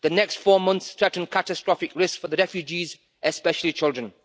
The next four months threaten catastrophic risk for the refugees, especially children.